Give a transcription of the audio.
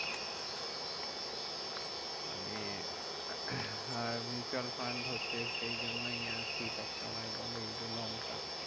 মানে আহ mutual fund হচ্ছে সেই জন্য আর কি সবসময় বলে যে, long term.